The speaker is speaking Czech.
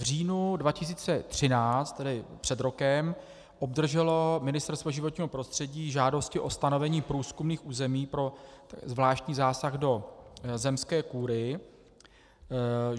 V říjnu 2013, tedy před rokem, obdrželo Ministerstvo životního prostředí žádosti o stanovení průzkumných území pro zvláštní zásah do zemské kůry.